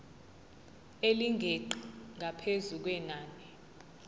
elingeqi ngaphezu kwenani